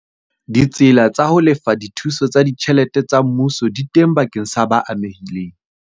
Ditsela tsa ho lefa dithuso tsa ditjhelete tsa mmuso di teng bakeng sa ba amehileng.